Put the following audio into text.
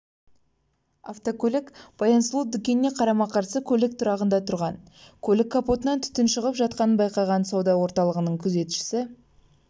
автокөлік баян-сұлу дүкеніне қарама-қарсы көлік тұрағында тұрған көлік капотынан түтін шығып жатқанын байқаған сауда орталығының күзетшісі